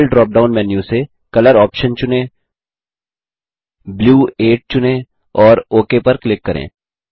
fill drop down menu से colour option चुनें blue 8 चुनें और ओक पर क्लिक करें